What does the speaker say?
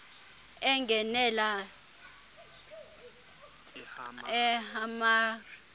engenelela ah mr